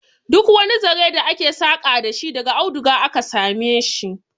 Duk wani zare da ake saka dashi daga aduga aka sameshi